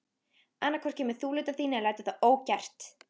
Annað hvort kemur þú lyddan þín eða lætur það ógert.